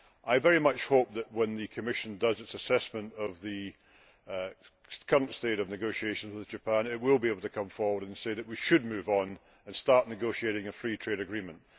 I very much hope that when the Commission does its assessment of the current state of negotiations with Japan it will be able to come forward and say that we should move on and start negotiating a free trade agreement.